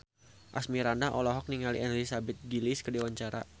Asmirandah olohok ningali Elizabeth Gillies keur diwawancara